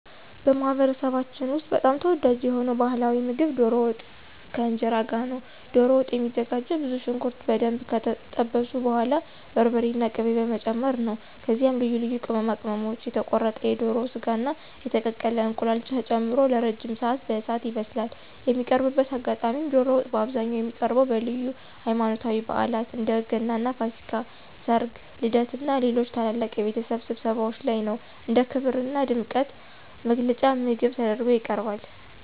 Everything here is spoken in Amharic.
በማኅበረሰባችን ውስጥ በጣም ተወዳጅ የሆነው ባሕላዊ ምግብ ዶሮ ወጥ ከእንጀራ ጋር ነው። ዶሮ ወጥ የሚዘጋጀውም ብዙ ሽንኩርት በደንብ ከጠበሱ በኋላ በርበሬና ቅቤ በመጨመር ነው። ከዚያም ልዩ ልዩ ቅመማ ቅመሞች፣ የተቆረጠ የዶሮ ሥጋና የተቀቀለ እንቁላል ተጨምሮ ለረጅም ሰዓት በእሳት ይበስላል። የሚቀርብበት አጋጣሚም ዶሮ ወጥ በአብዛኛው የሚቀርበው በልዩ ሃይማኖታዊ በዓላት (እንደ ገናና ፋሲካ)፣ ሠርግ፣ ልደትና ሌሎች ታላላቅ የቤተሰብ ስብሰባዎች ላይ ነው። እንደ ክብርና ድምቀት መግለጫ ምግብ ተደርጎ ይቀርባል።